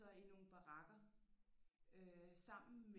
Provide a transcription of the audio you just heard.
Så i nogle barakker sammen